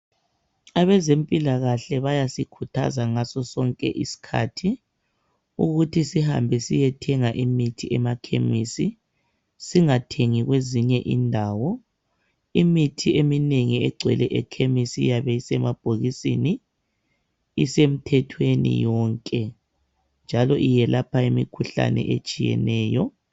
Abezempilakahle bayasikhuthaza ngaso sonke isikhathi ukuthi sihambe siyethenga imithi emakhemisi. Singathengi kwezinye indawo. Imithi eminengi egcwele ekhemisi iyabe isemabhokisini , isemthethweni yonke njalo iyelapha imikhuhlane etshiyeneyo.